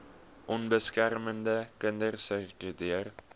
onbeskermde kinders sirkuleer